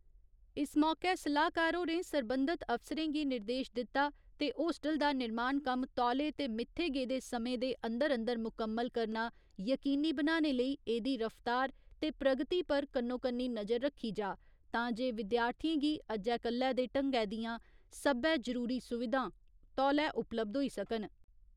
इस मौके सलाह्कार होरें सरबंधत अफसरें गी निर्देश दिता ते होस्टल दा निर्माण कम्म तौले ते मित्थे गेदे समें दे अंदर अंदर मुकम्मल करना यकीनी बनाने लेई एह्दी रफ्तार ते प्रगति पर कन्नो कन्नी नजर रखी जा तां जे विद्यार्थिएं गी अज्जै कल्लै दे ढंगै दियां सब्बै जरूरी सुविधां तौले उपलब्ध होई सकन।